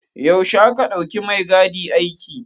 Yaushe aka ɗauki maigadi aiki.